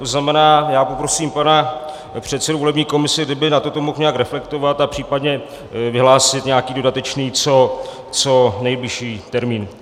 To znamená, já poprosím pana předsedu volební komise, kdyby na toto mohl nějak reflektovat a případně vyhlásit nějaký dodatečný, co nejbližší termín.